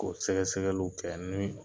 K'o sɛgɛsɛgɛlu kɛ ni